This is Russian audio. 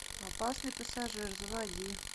опасный пассажир заводи